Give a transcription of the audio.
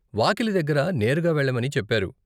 వాకిలి దగ్గర నేరుగా వెళ్ళమని చెప్పారు.